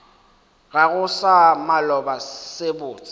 gago sa maloba se botse